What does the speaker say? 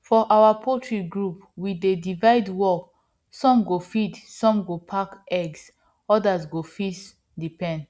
for our poultry group we dey divide work some go feed some go pack egg others go fix the pen